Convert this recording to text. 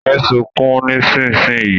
Yé sunkún nísinsìnyí!